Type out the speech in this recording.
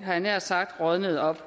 jeg nær sagt rådnede op